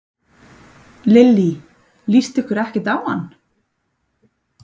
Lillý: Líst ykkur ekkert á hann?